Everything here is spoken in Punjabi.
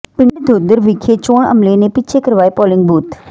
ਪਿੰਡ ਦੌਧਰ ਵਿਖੇ ਚੋਣ ਅਮਲੇ ਨੇ ਪਿੱਛੇ ਕਰਵਾਏ ਪੋਲਿੰਗ ਬੂਥ